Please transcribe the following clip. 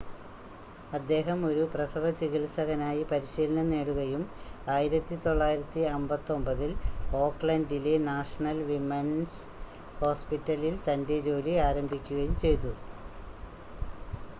അദ്ദേഹം ഒരു പ്രസവ ചികിത്സകനായി പരിശീലനം നേടുകയും 1959 ൽ ഓക്ക്ലൻഡിലെ നാഷണൽ വിമൺസ് ഹോസ്പിറ്റലിൽ തൻ്റെ ജോലി ആരംഭിക്കുകയും ചെയ്തു